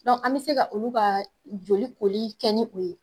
Dɔn an be se ka olu ka joli koli kɛ ni o ye